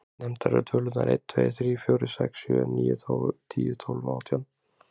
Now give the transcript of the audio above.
Nefndar eru tölurnar einn, tveir, þrír, fjórir, sex, sjö, níu, tíu, tólf og átján.